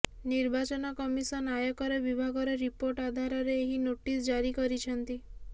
ନିର୍ବାଚନ କମିସନ ଆୟକର ବିଭାଗର ରିପୋର୍ଟ ଆଧାରରେ ଏହି ନୋଟିସ୍ ଜାରି କରିଛନ୍ତି